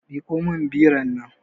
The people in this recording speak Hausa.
Miƙo min biron nan